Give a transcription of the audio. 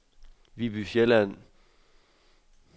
Viby Sjælland